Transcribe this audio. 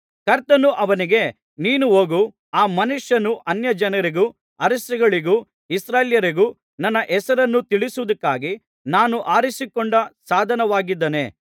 ಕರ್ತನು ಅವನಿಗೆ ನೀನು ಹೋಗು ಆ ಮನುಷ್ಯನು ಅನ್ಯಜನರಿಗೂ ಅರಸುಗಳಿಗೂ ಇಸ್ರಾಯೇಲ್ಯರಿಗೂ ನನ್ನ ಹೆಸರನ್ನು ತಿಳಿಸುವುದಕ್ಕಾಗಿ ನಾನು ಆರಿಸಿಕೊಂಡ ಸಾಧನವಾಗಿದ್ದಾನೆ